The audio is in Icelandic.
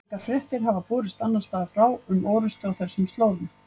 Engar fréttir hafa borist annars staðar frá um orrustu á þessum slóðum.